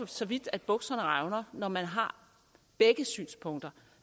så vidt at bukserne revner når man har begge synspunkter